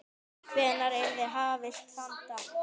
Hvenær yrði hafist handa?